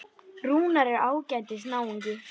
Rúnar er ágætis náungi.